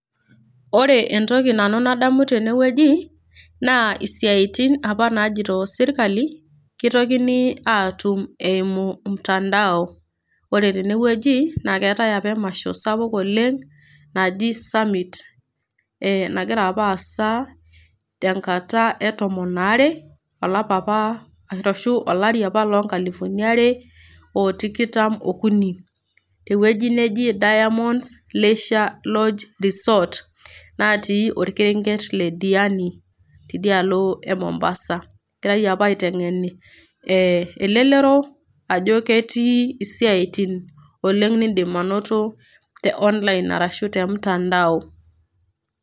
Ore entoki nanu nadamu tene wueji naa isiaitin apa najito sirkali kitokini aatum eimu mtandao. Ore tene wueji naake eetai apa emasho sapuk oleng' naji summit nagira apa aasa tenkata e tomon aare arashu olari apa loo nkalifuni are o tikitam okuni te wueji neji Diamond Leisure Lodge Resort natii orkerenket le Diani tidia alo e Mombasa. Egirai apa aiteng'en ee elelero ajo ketii isiaitin oleng' niindim anoto te online arashu te mtandao.